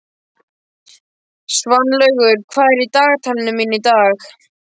Svanlaugur, hvað er í dagatalinu mínu í dag?